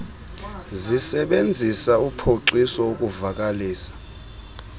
zisebenzisa uphoxiso ukuvakalisa